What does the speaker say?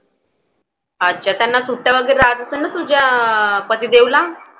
अच्छा. त्यांना सुट्ट्या वगैरे राहत असेल ना तुझ्या पतिदेवला.